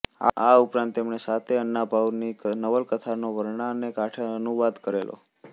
આ ઉપરાંત તેમણે સાતે અન્નાભાઉની નવલકથાનો વરણાને કાંઠે નામે અનુવાદ કરેલો